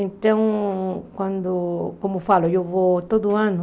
Então, quando como falo, eu vou todo ano.